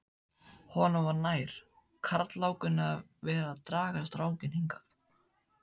Honum var nær, karlálkunni, að vera að draga strákinn hingað